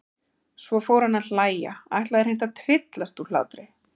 Svo fór hann að hlæja, ætlaði hreint að tryllast úr hlátri.